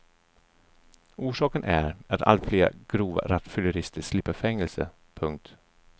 Orsaken är att allt fler grova rattfyllerister slipper fängelse. punkt